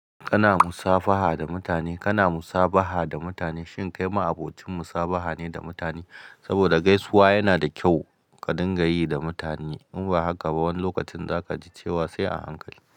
Kana musafaha da mutane, kana musabaha da mutane shin kai ma abocin musabaha ne da mutane? Saboda gaisuwa yana da kyau ka dinga yi da mutane in ba haka ba wani lokacin za ka ji cewa sai a hankali.